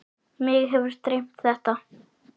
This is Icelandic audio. Mig hefur dreymt þetta.